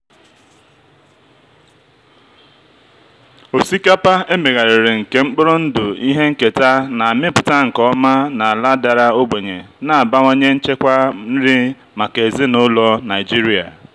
osikapa emegharịrị nke mkpụrụ ndụ ihe nketa na-amịpụta nke ọma na ala dara ogbenye na-abawanye nchekwa nri maka ezinaụlọ nigeria.